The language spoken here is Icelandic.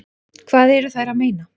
Hvað eru þær að meina?